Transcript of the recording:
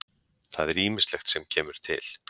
Það er ýmislegt sem kemur til.